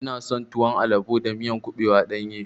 Ina son tuwon albo da miya kuɓewa ɗanye.